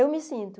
Eu me sinto.